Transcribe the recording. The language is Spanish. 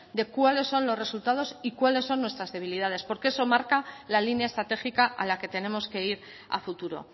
de cuáles son los resultados y cuáles son nuestras debilidades porque eso marca la línea estratégica a la que tenemos que ir a futuro